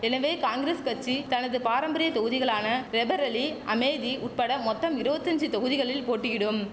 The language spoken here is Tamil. எனவே காங்கிரஸ் கச்சி தனது பாரம்பரிய தொகுதிகளான ரேபரேலி அமேதி உட்பட மொத்தம் இருவத்தஞ்சி தொகுதிகளில் போட்டியிடும்